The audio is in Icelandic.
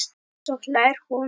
Svo hlær hún.